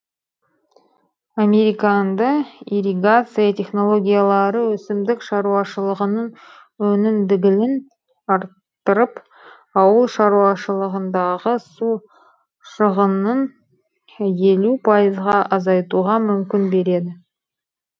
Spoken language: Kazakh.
американды ирригация технологиялары өсімдік шаруашылығының өнімділігін арттырып ауыл шаруашылығындағы су шығынын елу пайызға азайтуға мүмкін беред